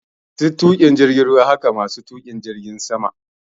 Masu tuƙin jirgin ruwa wa jirgin ruwa hake masu tuƙin jirgin sama ma jirgi